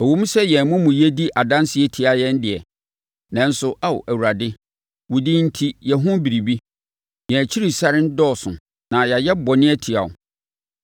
Ɛwom sɛ yɛn amumuyɛ di adanseɛ tia yɛn deɛ, nanso Ao Awurade, wo din enti yɛ ho biribi. Yɛn akyirisane dɔɔso; na yɛayɛ bɔne atia wo.